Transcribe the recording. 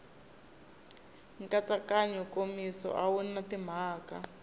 nkatsakanyo nkomiso wu na timhaka